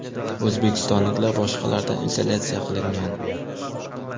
O‘zbekistonliklar boshqalardan izolyatsiya qilingan.